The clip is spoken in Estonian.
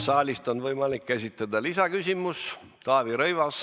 Saalist on võimalik esitada lisaküsimus.